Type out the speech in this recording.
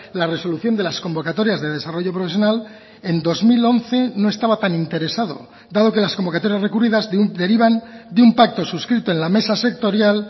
la resolución de las convocatorias de desarrollo profesional en dos mil once no estaba tan interesado dado que las convocatorias recurridas derivan de un pacto suscrito en la mesa sectorial